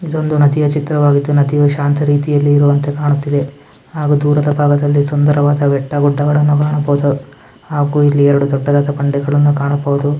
ಇದೊಂದು ನದಿಯ ಚಿತ್ರವಾಗಿದ್ಧು ನದಿಯು ಶಾಂತ ರೀತಿಯಲ್ಲಿ ಇರುವಂತೆ ಕಾಣುತಿದೆ ಹಾಗೂ ದೂರದ ಭಾಗದಲ್ಲಿ ಸುಂದರವಾದ ಬೆಟ್ಟ ಗುಡ್ಡಗಳನ್ನು ಕಾಣಬಹುದು ಹಾಗು ಇಲ್ಲಿ ಎರಡು ದೊಡ್ಡದಾದ ಬಂಡೆಗಳನ್ನು ಕಾಣಬಹುದು.